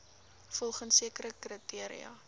volgens sekere kriteria